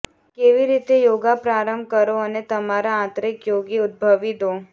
કેવી રીતે યોગા પ્રારંભ કરો અને તમારા આંતરિક યોગી ઉદ્ભવી દો